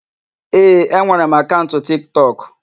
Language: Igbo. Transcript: Ee, enwere m akaụnt Tiktọk.